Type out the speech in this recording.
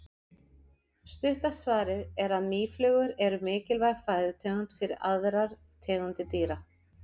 Stutta svarið er að mýflugur eru mikilvæg fæðutegund fyrir aðrar tegundir dýra.